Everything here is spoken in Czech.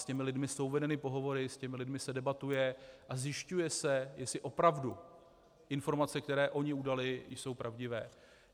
S těmi lidmi jsou vedeny pohovory, s těmi lidmi se debatuje a zjišťuje se, jestli opravdu informace, které oni udali, jsou pravdivé.